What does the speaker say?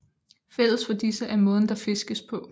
Fælles for disse er måden der fiskes på